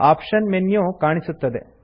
option menu ಕಾಣಿಸುತ್ತದೆ